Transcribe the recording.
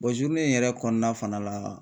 in yɛrɛ kɔnɔna fana la